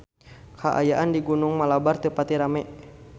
Kaayaan di Gunung Malabar teu pati rame